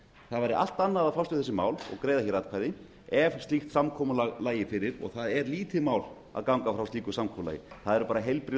það væri allt annað að fást um þessi mál og greiða atkvæði ef slíkt samkomulag lægi fyrir og það er lítið mál að ganga frá slíku samkomulagi það eru heilbrigð